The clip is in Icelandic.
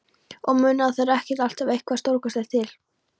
Og munum að það þarf ekki alltaf eitthvað stórkostlegt til.